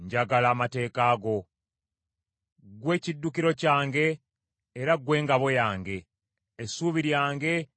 Ggwe kiddukiro kyange era ggwe ngabo yange; essuubi lyange liri mu kigambo kyo.